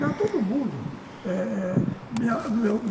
Não, todo mundo eh...